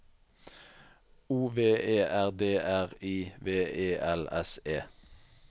O V E R D R I V E L S E